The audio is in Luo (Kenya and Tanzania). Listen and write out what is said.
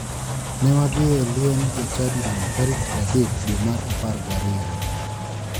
Ne wadhie e liend jachadino tarik 30 dwe mar apar gi ariyo.